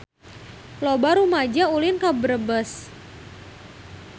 Loba rumaja ulin ka Brebes